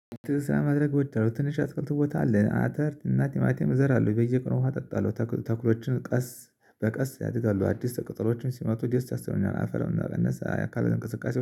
ትውስታ ማድረግ ትንሽ ትክልት ቦታ አለን አተር እና ቲማቲም እዘራለሁ በየቀኑ ውሃ አጠጣለሁ። ተኩሎችን ቀስ በቀስ ያድጋሉ አዲስ ቀጠሎዎችም ሲመጡ ደስ የሰኙኛል። አፈሩን ቀነሰ አካል እንቅስቃሴ